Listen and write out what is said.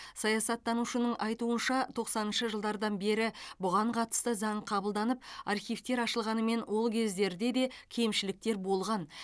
саясаттанушының айтуынша тоқсаныншы жылдардан бері бұған қатысты заң қабылданып архивтер ашылғанымен ол кездерде де кемшіліктер болған